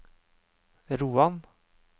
Roan